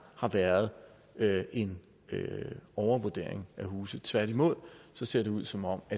har været en overvurdering af huse tværtimod ser det ud som om